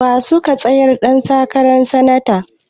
Wa suka tsayar ɗan takaran sanata?